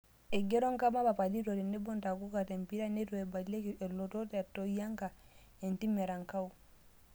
Eigero Nkama papalito tenebo Ntakuka tempira neitu eibalieki elotot e Toyianka entim Erankau